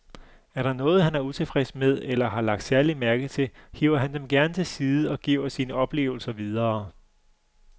Er der noget, han er utilfreds med eller har lagt særlig mærke til, hiver han dem gerne til side og giver sine oplevelser videre.